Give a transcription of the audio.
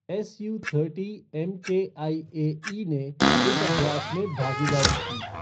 SU thirty MKIAE ने इस अभ्यास में भागादीरी की।